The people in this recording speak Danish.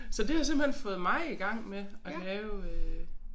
Så det har simpelthen fået mig i gang med at lave øh